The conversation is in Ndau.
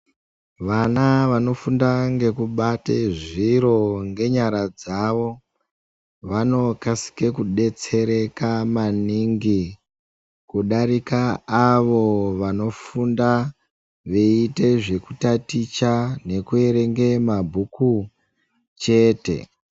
Vana vafunde ngekubate zviri ngenyara dzavo vanokasikw kudetsereka maningi kudarika avo vanofunda veiite zvekutaticha nekuerenge mabhuku chete.